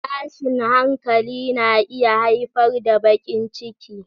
Tashin hankali na iya haifar da baƙin ciki.